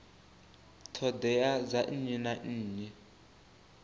ṱhoḓea dza nnyi na nnyi